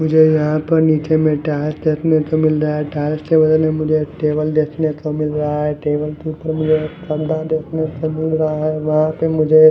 मुझे यहां पर नीचे देखने को मिल रहा है देखने के बदले मुझे टेबल देखने को मिल रहा है टेबल के ऊपर मुझे पंखा देखने को मिल रहा है।